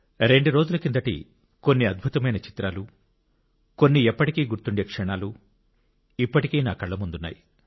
రెండు రోజుల కిందటి కొన్ని అద్భుతమైన చిత్రాలు కొన్ని ఎప్పటికీ గుర్తుండే క్షణాలు ఇప్పటికీ నా కళ్ల ముందు ఉన్నాయి